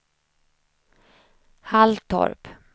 Halltorp